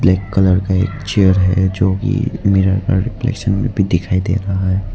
Black colour का एक chair है जोकी मिरर का रिफलेक्शन में भी दिखाइ दे रहा है।